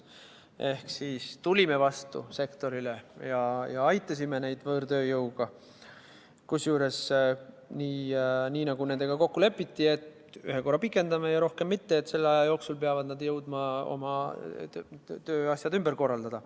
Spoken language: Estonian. Ehk me tulime sektorile vastu ja aitasime neid võõrtööjõuga, kusjuures nii, nagu nendega kokku lepiti, et ühe korra pikendame ja rohkem mitte, selle aja jooksul peavad nad jõudma oma tööasjad ümber korraldada.